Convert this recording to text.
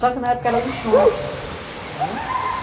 Só que na época eram lixões, não é?!